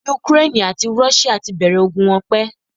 Ukraine àti Russia tí bẹ̀rẹ̀ ogun wọn pẹ́